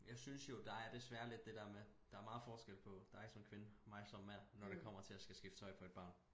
Jeg synes jo der er desværre lidt det der med der er meget forskel på dig som kvinde mig som mand når det kommer til at skal skifte tøj på et barn